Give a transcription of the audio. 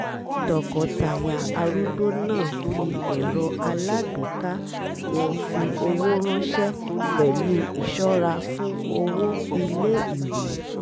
tọkọtaya arúgbó náà fi ẹ̀rọ alágbèéká wọn fi owó ránṣẹ́ pẹ̀lú ìṣọ́ra fún owó ilé-ìwé